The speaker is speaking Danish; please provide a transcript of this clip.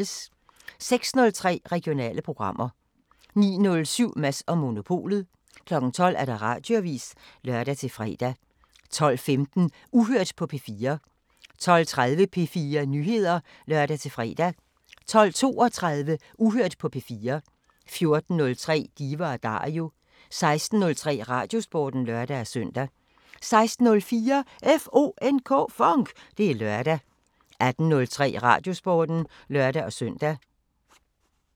06:03: Regionale programmer 09:07: Mads & Monopolet 12:00: Radioavisen (lør-fre) 12:15: Uhørt på P4 12:30: P4 Nyheder (lør-fre) 12:32: Uhørt på P4 14:03: Diva & Dario 16:03: Radiosporten (lør-søn) 16:04: FONK! Det er lørdag 18:03: Radiosporten (lør-søn)